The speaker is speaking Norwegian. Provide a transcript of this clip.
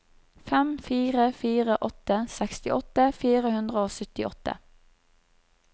fem fire fire åtte sekstiåtte fire hundre og syttiåtte